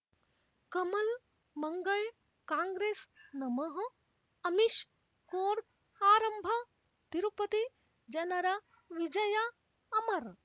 ಕಮಲ್ ಮಂಗಳ್ ಕಾಂಗ್ರೆಸ್ ನಮಃ ಅಮಿಷ್ ಕೋರ್ಟ್ ಆರಂಭ ತಿರುಪತಿ ಜನರ ವಿಜಯ ಅಮರ್